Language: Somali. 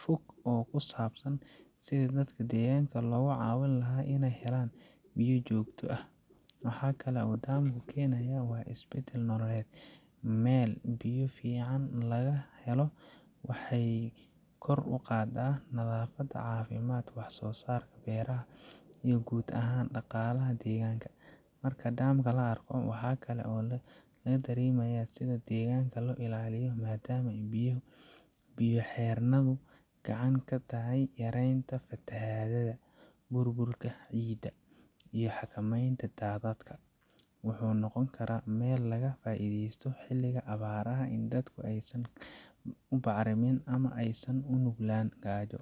fog oo ku saabsan sidii dadka deegaanka looga caawin lahaa inay helaan biyo joogto ah. Waxa kale oo uu dam ku keenayaa isbeddel nololeed meel biyo fiican laga helo waxay kor u qaadaa nadaafadda, caafimaadka, wax-soo-saarka beeraha iyo guud ahaan dhaqaalaha deegaanka. Marka dam la arko, waxa kale oo la dareemayaa sida deegaanka loo ilaalinayo, maadaama biyo-xireennadu gacan ka geystaan yareynta fatahaadaha, burburka ciidda, iyo xakamaynta daadadka. Wuxuu noqon karaa meel laga faa’iidaysto xilliga abaaraha si dadku aysan u barakicin ama aysan ugu nuglaan gaajo